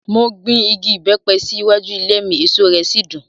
Mo gbin igi ìbẹ́pẹ sí iwájú ilé mi, èso rẹ̀ sì dùn.